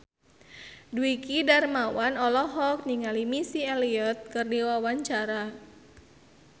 Dwiki Darmawan olohok ningali Missy Elliott keur diwawancara